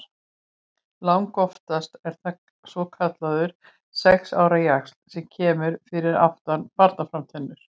Langoftast er það svokallaður sex ára jaxl sem kemur fyrir aftan barnatennurnar.